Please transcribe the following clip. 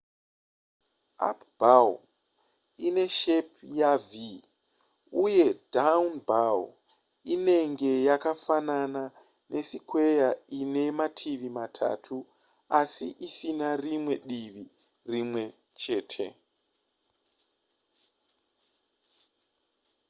up bow ine shepi yav uye down bow inenge yakafanana nesikweya ine mativi matatu asi isina rimwe divi rimwe chete